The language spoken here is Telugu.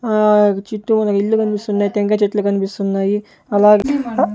ఆ చుట్టురా ఇల్లు కనిపిస్తున్నాయి టెంకాయి చెట్లు కనిపిస్తున్నాయి అలాగే --